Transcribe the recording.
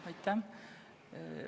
Aitäh!